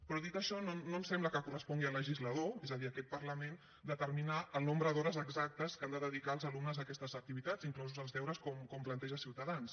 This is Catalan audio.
però dit això no ens sembla que correspongui al legislador és a dir a aquest parlament determinar el nombre d’hores exactes que han de dedicar els alumnes a aquestes activitats inclosos els deures com planteja ciutadans